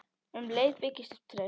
Um leið byggist upp traust.